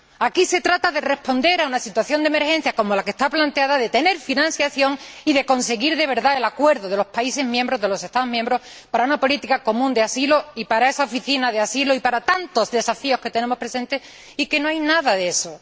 Aquí se trata de responder a una situación de emergencia como la que está planteada, de tener financiación y de conseguir de verdad el acuerdo de los Estados miembros para una política común de asilo y para esa Oficina de Asilo y para tantos desafíos que tenemos presentes, y aquí no hay nada de eso.